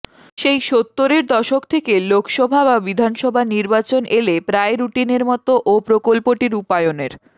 সেই সত্তরের দশক থেকে লোকসভা বা বিধানসভা নির্বাচন এলে প্রায় রুটিনের মতো ও প্রকল্পটি রূপায়ণের